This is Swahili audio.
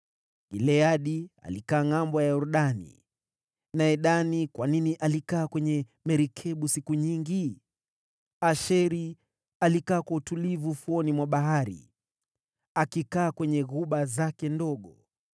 Gileadi alikaa ngʼambo ya Yordani. Naye Dani, kwa nini alikaa kwenye merikebu siku nyingi? Asheri alikaa kwa utulivu ufuoni mwa bahari, akikaa kwenye ghuba zake ndogo.